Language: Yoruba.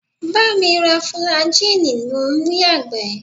Bá mi ra fùlàjíìnì mò ń yàgbẹ́!